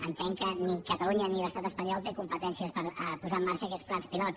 entenc que ni catalunya ni l’estat espanyol té competències per posar en marxa aquests plans pilot